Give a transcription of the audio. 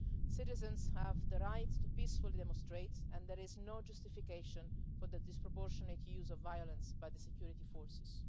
Citizens have the right to peacefully demonstrate, and there is no justification for the disproportionate use of violence by the security forces.